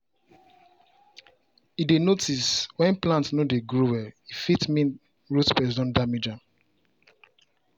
e dey notice when plant no dey grow well — e fit mean root pest don damage am.